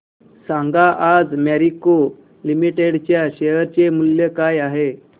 सांगा आज मॅरिको लिमिटेड च्या शेअर चे मूल्य काय आहे